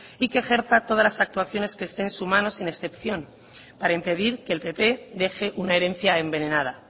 y que ejerza todas las actuaciones que esté en su mano sin excepción para impedir que el pp deje una herencia envenenada